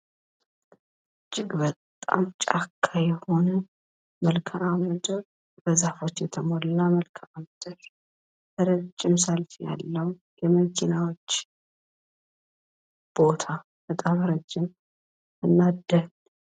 እጅግ በጣም ጫካ የሆነ መልክአ ምድር ፣በዛፎች የተሞላ መልክአ ምድር ረጅም ሰልፍ ያለው የመኪናዎች ቦታ ፣በጣም ረጅምና ደን።